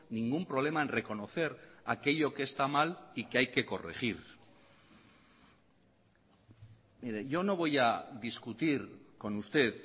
ningún problema en reconocer aquello que está mal y que hay que corregir mire yo no voy a discutir con usted